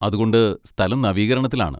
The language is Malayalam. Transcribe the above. അതുകൊണ്ട് സ്ഥലം നവീകരണത്തിലാണ്.